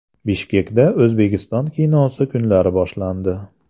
Bishkekda O‘zbekiston kinosi kunlari boshlandi.